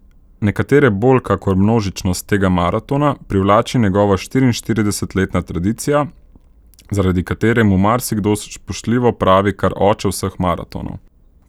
Nekatere bolj kakor množičnost tega maratona privlači njegova štiriinštiridesetletna tradicija, zaradi katere mu marsikdo spoštljivo pravi kar oče vseh maratonov.